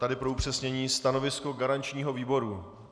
Tady pro upřesnění - stanovisko garančního výboru.